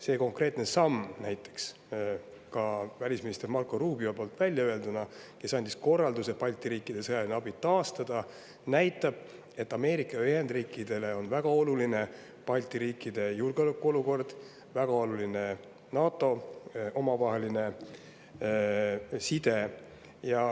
See konkreetne samm näiteks, välisminister Marco Rubio poolt öelduna, kes andis korralduse Balti riikidele antav sõjaline abi taastada, näitab, et Ameerika Ühendriikidele on väga oluline Balti riikide julgeolekuolukord ja samuti NATO omavaheline side.